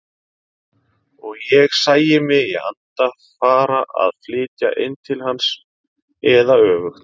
Og ég sæi mig í anda fara að flytja inn til hans eða öfugt.